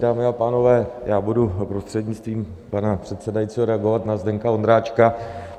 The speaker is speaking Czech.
Dámy a pánové, já budu, prostřednictvím pana předsedajícího, reagovat na Zdeňka Ondráčka.